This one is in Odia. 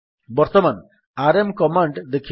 ବର୍ତ୍ତମାନ ଆରଏମ୍ କମାଣ୍ଡ୍ ଦେଖିବା